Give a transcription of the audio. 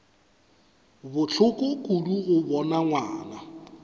bohloko kudu go bona ngwana